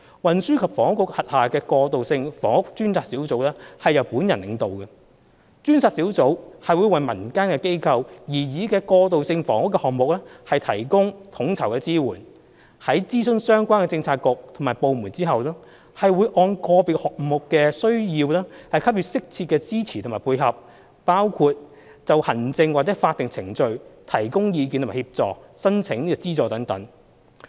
運輸及房屋局轄下的過渡性房屋專責小組由本人領導。專責小組會為民間機構擬議的過渡性房屋項目提供統籌支援，在諮詢相關的政策局和部門後，按個別項目的需要給予適切的支持和配合，包括就行政或法定程序提供意見和協助申請資助等。